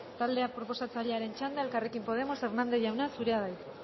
talde proposatzailearen txanda elkarrekin podemos hernández jauna zurea da hitza